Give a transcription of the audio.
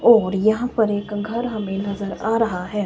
और यहां पर एक घर हमें नजर आ रहा है।